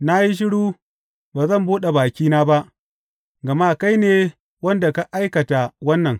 Na yi shiru; ba zan buɗe bakina ba, gama kai ne wanda ka aikata wannan.